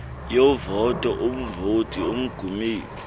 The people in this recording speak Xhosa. yovoto umvoti ongummeli